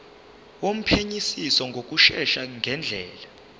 wophenyisiso ngokushesha ngendlela